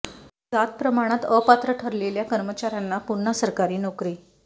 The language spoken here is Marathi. जात प्रमाणात अपात्र ठरलेल्या कर्मचाऱ्यांना पुन्हा सरकारी नोकरी